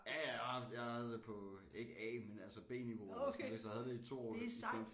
Ja ja jeg har haft jeg havde det på ikke A men altså B-niveau eller sådan noget så jeg havde det i 2 år